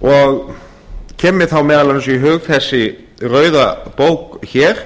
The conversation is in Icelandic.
og kemur mér þá meðal annars í hug þessi rauða bók hér